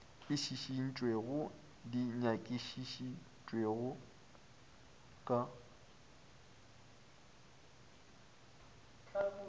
e šišintšwego di nyakišišitšwe ka